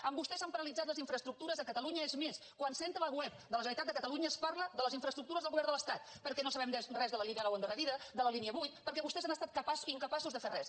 amb vostè s’han paralitzat les infraestructures de catalunya és més quan s’entra a la web de la generalitat de catalunya es parla de les infraestructures del govern de l’estat perquè no sabem res de la línia nou endarrerida de la línia vuit perquè vostès han estat incapaços de fer res